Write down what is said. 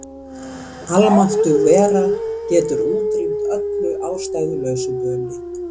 Almáttug vera getur útrýmt öllu ástæðulausu böli.